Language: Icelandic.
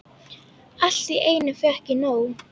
Allt í einu fékk ég nóg.